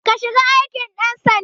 Ka shiga aikin ɗan sanda